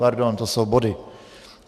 Pardon, to jsou body.